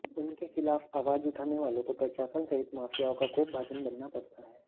उनके खिलाफ आवाज उठाने वालों को प्रशासन सहित माफियाओं का कोपभाजन बनना पड़ता है